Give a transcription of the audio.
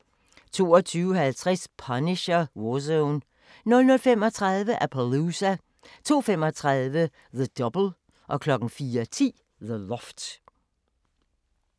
22:50: Punisher: War Zone 00:35: Appaloosa 02:35: The Double 04:10: The Loft